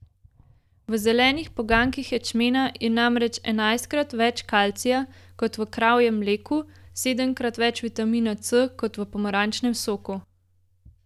V zelenih poganjkih ječmena je namreč enajstkrat več kalcija kot v kravjem mleku, sedemkrat več vitamina C kot v pomarančnem soku.